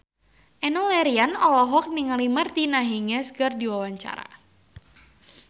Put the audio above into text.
Enno Lerian olohok ningali Martina Hingis keur diwawancara